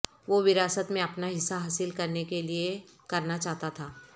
وہ وراثت میں اپنا حصہ حاصل کرنے کے لئے کرنا چاہتا تھا